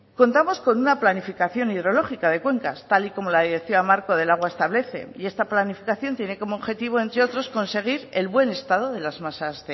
contamos con una planificación hidrológica de cuencas tal y como la directiva marco del agua establece y esta planificación tiene como objetivo entre otros conseguir el buen estado de las masas